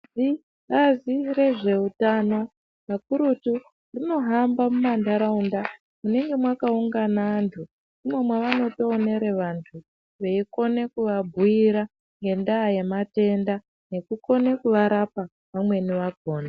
Bazi rezveutano kakurutu rinohamba mumanharaunda munenge mwakaungana antu. Ndimwo mwavanotoonere vantu veikona kuvabhiira ngendaa ye matenda nekukona kuvarapa vamweni vakhona.